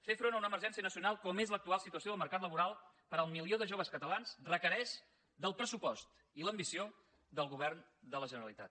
fer front a una emergència nacional com és l’actual situació del mercat laboral per al milió de joves catalans requereix del pressupost i l’ambició del govern de la generalitat